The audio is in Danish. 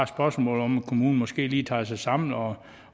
spørsmål om at kommunen måske lige tager sig sammen og